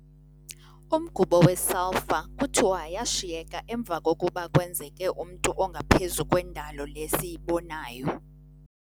Umgubo we-sulphur kuthiwa yashiyeka emva kokuba kwenzeke umntu ongaphezu kwendalo le siyibonayo.